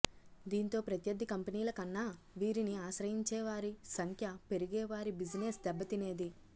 దీంతో ప్రత్యర్థి కంపెనీల కన్నా వీరిని ఆశ్రయించే వారి సంఖ్య పెరిగి వారి బిజినెస్ దెబ్బతినేది